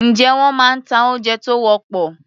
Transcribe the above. Ǹjé wọ́n máa ń ta oúnjẹ tó wọ́pọ̀?